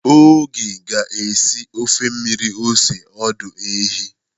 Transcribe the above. Oge ga-esi ofe mmiri ose ọdụ ehi.